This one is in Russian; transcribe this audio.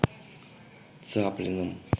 цаплиным